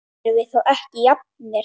Erum við þá ekki jafnir?